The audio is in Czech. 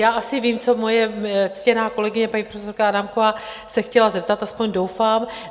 Já asi vím, co moje ctěná kolegyně, paní profesorka Adámková, se chtěla zeptat, aspoň doufám.